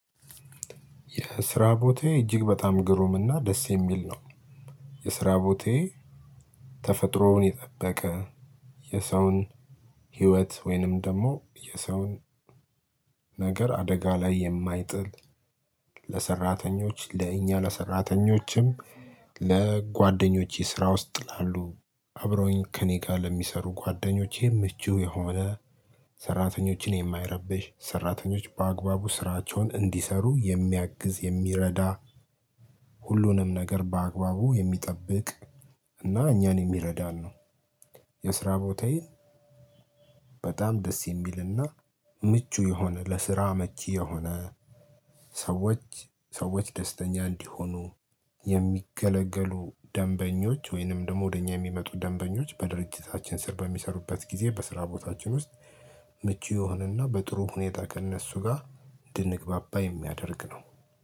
የስራ ቦታየ እጅግ በጣም ግሩም እና ደስ የሚል ነው። የስራ ቦታየ ተፈጥሮውን የጠበቀ የሰውን ህይወት ወይንም ደግሞ የሰውን ነገር አደጋ ላይ የማይጥል። ለሰራተኞች ለእኛ ለሰራተኞችም ለጓደኞቼ ስራ ውስጥ ላሉ አብረውኝ ከእኔ ጋር ለሚሰሩ ጓደኞቼም ምቹ የሆነ ሰራተኞችን የማይረብሽ ሰራተኞች በአግባቡ ስራቸውን እንዲሰሩ የሚያግዝ የሚረዳ ሁሉንም ነገር በአግባቡ የሚጠብቅ እና እኛን የሚረዳን ነው። የስራ ቦታዬ። በጣም ደስ የሚልና ምቹ የሆነ ለስራ መቼ የሆነ ሰዎች ሰዎች ደስተኛ እንዲሆኑ የሚገለገሉ ደንበኞች ወይንም ደግሞ ወደ እኛ የሚመጡ ደንበኞች በድርጅታችን ስር በሚሰሩበት ጊዜ በስራ ቦታችን ውስጥ ምቹ የሆነና በጥሩ ሁኔታ ከእነሱ ጋር እንድንግባባ የሚያደርግ ነው።